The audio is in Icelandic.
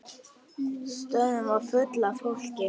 Stöðin var full af fólki.